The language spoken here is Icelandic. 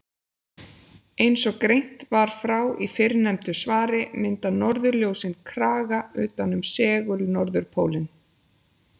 Eins og greint var frá í fyrrnefndu svari mynda norðurljósin kraga utan um segul-norðurpólinn.